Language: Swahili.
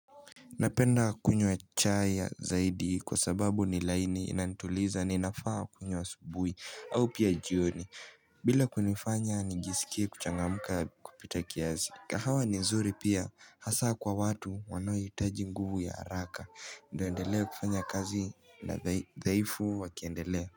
Napenda kunywa chai zaidi kwa sababu ni laini inanituliza ninafaa kunywa asubuhi au pia jioni. Bila kunifanya nijisikie kuchangamka kupita kiasi. Kahawa ni nzuri pia hasa kwa watu wanaohitaji nguvu ya haraka. Endelee kufanya kazi na dhaifu wakiendelea.